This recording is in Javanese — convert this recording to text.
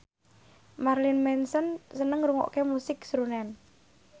Marilyn Manson seneng ngrungokne musik srunen